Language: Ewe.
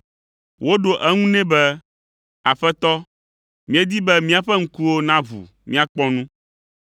Woɖo eŋu nɛ be, “Aƒetɔ, míedi be míaƒe ŋkuwo naʋu míakpɔ nu.”